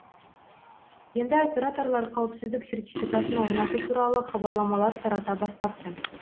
енді операторлар қауіпсіздік сертификатын орнату туралы хабарламалар тарата бастапты